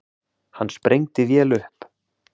Hann sprengdi vel upp.